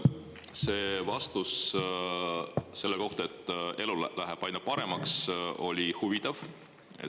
See vastus selle kohta, et elu läheb aina paremaks, oli huvitav.